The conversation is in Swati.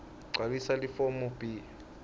gcwalisa lelifomu b